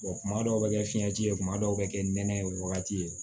kuma dɔw bɛ kɛ fiɲɛti ye kuma dɔw bɛ kɛ nɛnɛ ye o wagati ye